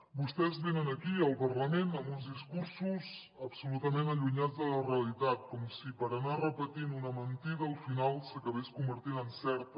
vostès venen aquí al parlament amb uns discursos absolutament allunyats de la realitat com si per anar repetint una mentida al final s’acabés convertint en certa